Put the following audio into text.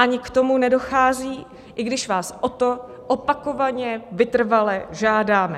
Ani k tomu nedochází, i když vás o to opakovaně vytrvale žádáme.